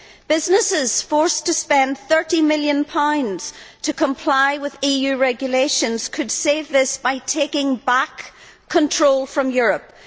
Businesses forced to spend GBP 30 million to comply with EU regulations could save this by taking back control from Europe.